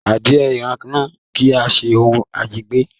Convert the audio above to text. Adìẹ irana kii ṣe òun ajẹgbẹ́